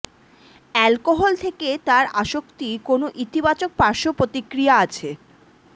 alcohol থেকে তার আসক্তি কোন ইতিবাচক পার্শ্ব প্রতিক্রিয়া আছে